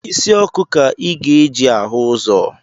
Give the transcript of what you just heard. Isi ọkụ ka ị ga-eji ahụ ụzọ